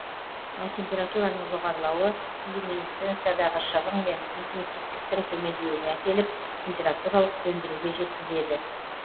ал температураның жоғарылауы люминесценциядағы шығын мен интенсивтіктің төмендеуіне әкеліп температуралық сөндіруге жеткізеді